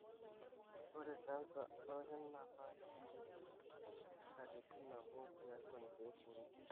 ore canser olkinaama kepuku katitin nabo tiatu inkek uni.